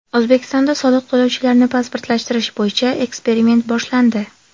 O‘zbekistonda soliq to‘lovchilarni pasportlashtirish bo‘yicha eksperiment boshlandi.